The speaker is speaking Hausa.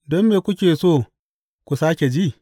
Don me kuke so ku sāke ji?